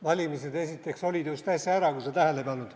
Valimised, esiteks, olid just äsja ära, kui sa tähele ei pannud.